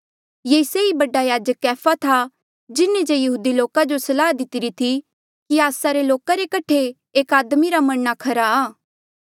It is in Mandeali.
ये से ई बडा याजक कैफा था जिन्हें जे यहूदी लोका जो सलाह दितिरी थी कि आस्सा रे लोका रे कठे एक आदमी रा मरणा खरा आ